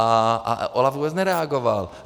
A OLAF vůbec nereagoval.